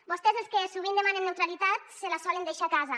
vostès els que sovint demanen neutralitat se la solen deixar a casa